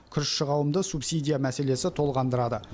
күрішші қауымды субсидия мәселесі толғандырады